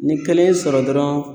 Ni kelen ye sɔrɔ dɔrɔn